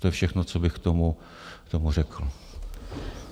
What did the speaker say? To je všechno, co bych k tomu řekl.